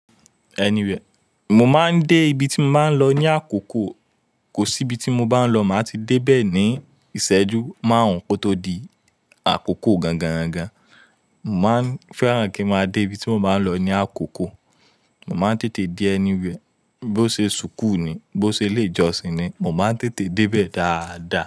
Anywhere, mo máa ń dé ibi tí mo máa ń lọ ní àkókò. Kò sí ibi tí mo bá ń lọ, màá ti dé bẹ́ẹ̀ ní ìṣẹ́jú márùn-ún kó tó di àkókò gangangan. Mo máa ń fẹ́ràn kín ma débi tí mo bá ń lọ ní àkókò. Mo máa ń tètè dé anywhere. Bó ṣe ṣùkú ni, bó ṣe ilé ìjọsìn ni, mo máa ń tètè dé bẹ́ẹ̀ dáadáa.